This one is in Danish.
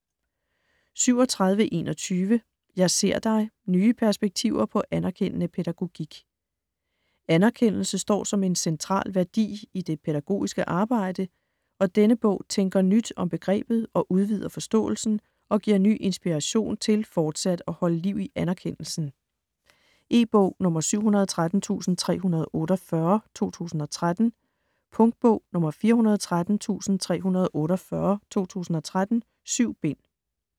37.21 Jeg ser dig: nye perspektiver på anerkendende pædagogik Anerkendelse står som en central værdi i det pædagogiske arbejde, og denne bog tænker nyt om begrebet og udvider forståelsen og giver ny inspiration til fortsat at holde liv i anerkendelsen. E-bog 713348 2013. Punktbog 413348 2013. 7 bind.